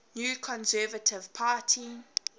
new conservative party